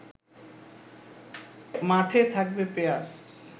মাঠে থাকবে পেঁয়াজ